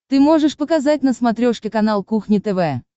ты можешь показать на смотрешке канал кухня тв